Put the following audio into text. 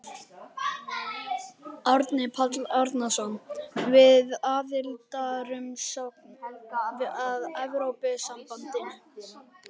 Árni Páll Árnason: Við aðildarumsókn að Evrópusambandinu?